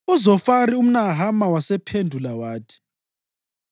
UZofari umNahama wasephendula wathi: